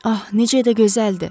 Ah, necə də gözəldir.